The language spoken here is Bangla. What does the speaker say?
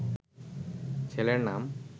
ছেলের নাম